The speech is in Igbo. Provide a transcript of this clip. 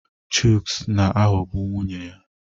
Chuks na-aghọgbu nwunye ya.